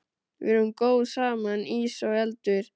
Við erum góð saman, ís og eldur.